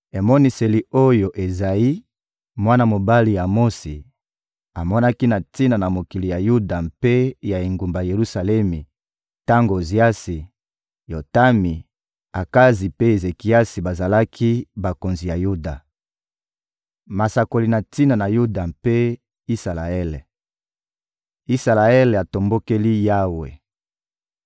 Emoniseli oyo Ezayi, mwana mobali ya Amotsi, amonaki na tina na mokili ya Yuda mpe ya engumba Yelusalemi tango Oziasi, Yotami, Akazi mpe Ezekiasi bazalaki bakonzi ya Yuda. Masakoli na tina na Yuda mpe Isalaele Isalaele atombokeli Yawe